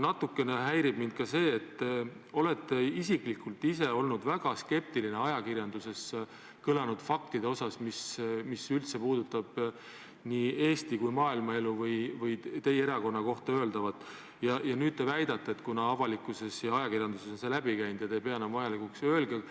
Natukene häirib mind ka see, et te olete ise olnud väga skeptiline ajakirjanduses kõlanud faktide suhtes, mis üldse puudutab nii Eesti kui maailma elu või teie erakonna kohta öeldavat, ja nüüd te väidate, et kuna avalikkuses ja ajakirjanduses on see läbi käinud, siis te ei pea enam vajalikuks.